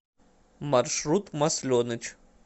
маршрут масленыч